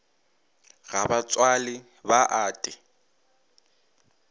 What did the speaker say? ga ba tswale ba ate